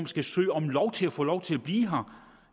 skal søge om lov til at få lov til at blive her